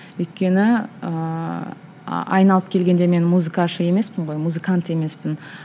өйткені ііі айналып келгенде мен емеспін ғой музыкант емеспін